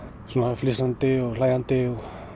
flissandi og hlæjandi